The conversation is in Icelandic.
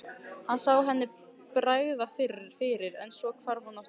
Hann sá henni bregða fyrir en svo hvarf hún aftur.